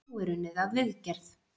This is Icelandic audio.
Nú er unnið að viðgerð.